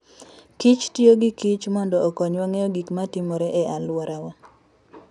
kich tiyo gi kich mondo okonywa ng'eyo gik ma timore e alworawa.